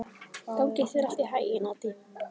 Gangi þér allt í haginn, Addý.